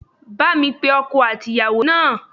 Bá mi pe ọkọ àti ìyàwó náà